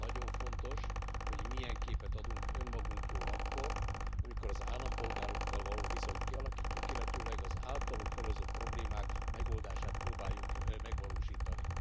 Nagyon fontos, hogy milyen képet adunk önmagunkról akkor, amikor az állampolgárokkal való viszonyt kialakítjuk, illetőleg az általuk felhozott problémák megoldását próbáljuk megvalósítani.